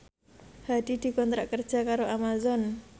Hadi dikontrak kerja karo Amazon